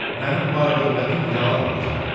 Mənim var-dövlətim yalan olacaq.